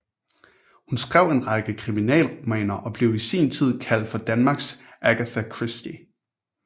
Hun skrev en række kriminalromaner og blev i sin tid kaldt for Danmarks Agatha Christie